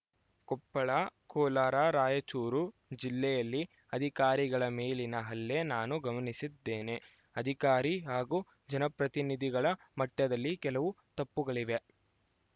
ಕೊಪ್ಪಳ ಕೋಲಾರ ರಾಯಚೂರು ಜಿಲ್ಲೆಯಲ್ಲಿ ಅಧಿಕಾರಿಗಳ ಮೇಲಿನ ಹಲ್ಲೆ ನಾನು ಗಮನಿಸಿದ್ದೇನೆ ಅಧಿಕಾರಿ ಹಾಗೂ ಜನಪ್ರತಿನಿಧಿಗಳ ಮಟ್ಟದಲ್ಲಿ ಕೆಲವು ತಪ್ಪುಗಳಿವೆ